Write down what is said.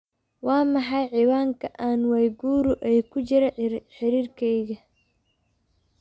waa maxay ciwaanka ann waiguru ee ku jira xiriirkeyga